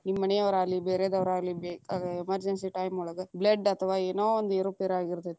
ನಿಮ್ಮ ಮನಿಯವರಾಗಲಿ, ಬೇರೆದವರಾಗಲಿ ಅ ಬೇಕಾ emergency time ಒಳಗ blood ಅಥವಾ ಏನೋ ಒಂದ ಏರು ಪೇರಾಗಿತೇ೯ತಿ.